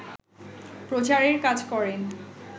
প্রচারের কাজ করেন